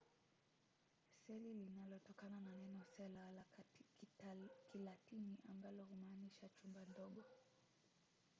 seli linatokana na neno cella la kilatini ambalo humaanisha chumba kidogo